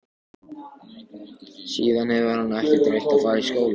Síðan hefur hann ekkert reynt að fara í skóla.